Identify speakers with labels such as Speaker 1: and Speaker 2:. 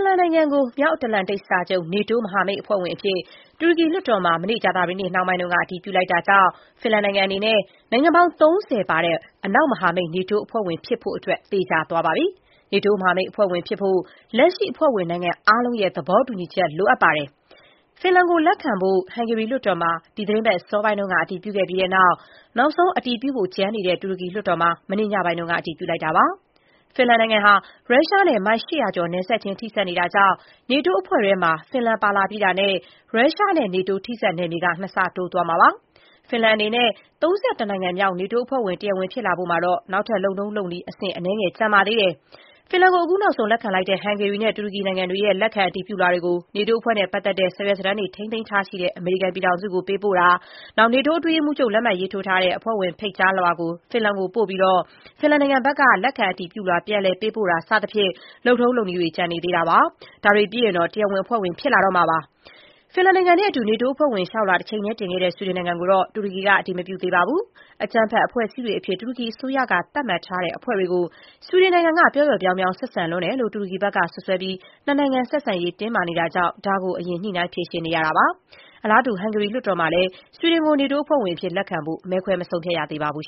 Speaker 1: ်လန်နိုင်ငံကို မြောက်အတ္တလန်တိတ် စာချုပ် NATO နေတိုးမဟာမိတ် အဖွဲ့ဝင်အဖြစ် တူရကီလွှတ်တော်မှာ မနေ့ ကြာသပတေးနေ့ နှောင်းပိုင်းက အတည်ပြု လိုက်ပြီမို့ ဖင်လန်အနေနဲ့ နိုင်ငံပေါင်း ၃၀ ပါတဲ့ အနောက်မဟာမိတ် နေတိုးအဖွဲ့ဝင်ဖြစ်ဖို့ သေချာသွားပါပြီ။ နေတိုး မဟာမိတ် အဖွဲ့ဝင် ဖြစ်ဖို့အတွက် လက်ရှိ အဖွဲ့ဝင်နိုင်ငံ အားလုံးရဲ့ သဘောတူညီချက် လိုအပ်ပါတယ်။ ဖင်လန်ကို လက်ခံဖို့ ဟန်ဂေရီလွှတ်တော်မှာ ဒီသီတင်းပတ်အစောပိုင်းက အတည်ပြုခဲ့ပြီးတဲ့နောက် နောက်ဆုံး အတည်ပြုဖို့ကျန်နေတဲ့ တူရကီလွှတ်တော်မှာ မနေ့ ညပိုင်းက အတည်ပြုလိုက်တာပါ။ ဖင်လန်နိုင်ငံဟာ ရုရှားနဲ့ မိုင် ၈၀၀ ကျော် နယ်စပ်ချင်း ထိစပ်နေတာကြောင့် နေတိုးအဖွဲ့ထဲမှာ ဖင်လန် ပါလာပြီးတာနဲ့ ရုရှားနဲ့ နေတိုး ထိစပ်နယ်မြေ ၂ ဆ တိုးသွားမှာပါ။ ဖင်လန် အနေနဲ့ ၃၁ နိုင်ငံမြောက် နေတိုးအဖွဲ့ဝင် တရားဝင် ဖြစ်လာဖို့မှာတော့ နောက်ထပ် လုပ်ထုံးလုပ်နည်း အဆင့်အနည်းငယ် ကျန်ပါသေးတယ်။ ဖင်လန်ကို အခုနောက်ဆုံး လက်ခံလိုက်တဲ့ ဟန်ဂေရီနဲ့ တူရကီနိုင်ငံတွေရဲ့ လက်ခံ အတည်ပြုလွှာတွေကို နေတိုးအဖွဲ့နဲ့ပတ်သက်တဲ့ စာရွက်စာတမ်းတွေ ထိန်းသိမ်းထားရှိတဲ့ အမေရိကန်ပြည်ထောင်စုကို ပေးပို့တာ၊ နေတိုး အတွင်းရေးမှူးချုပ် လက်မှတ်ထိုးထားတဲ့ အဖွဲ့ဝင်ဖိတ်ကြားလွှာ ဖင်လန်ကို ပေးပို့ပြီး ဖင်လန်ဘက်က လက်ခံအတည်ပြုလွှာ ပြန်လည် ပေးပို့တာ စတဲ့ လုပ်ထုံးလုပ်နည်းတချို့ ကျန်နေတာပါ။ ဒါတွေပြီးတာနဲ့ တရားဝင်အဖွဲ့ဝင် ဖြစ်လာတော့မှာပါ။ ဖင်လန်နဲ့အတူ နေတိုး အဖွဲ့ဝင်လျှောက်လွှာ တချိန်တည်း တင်ခဲ့တဲ့ ဆွီဒင်နိုင်ငံကိုတော့ တူရကီက အတည်မပြုသေးပါဘူး။ ကြမ်းဖက် အဖွဲ့အစည်းတွေအဖြစ် တူရကီအစိုးရက သတ်မှတ်ထားတဲ့ အဖွဲ့တွေကို ဆွီဒင်နိုင်ငံက ပျောပျော့ပြောင်းပြောင်း ဆက်ဆံလွန်းတယ်လို့ တူရကီဘက်က စွပ်စွဲပြီး နှစ်နိုင်ငံဆက်ဆံရေး တင်းမာနေတာကြောင့် ဒါကို အရင်ညှိနှိုင်းဖြေရှင်းနေရတာပါ။ အလားတူ ဟန်ဂေရီလွှတ်တော်မှာလည်း ဆွီဒင်ကို နေတိုးအဖွဲ့ဝင်အဖြစ် လက်ခံဖို့ မဲခွဲမဆုံးဖြတ်ရသေးပါဘူး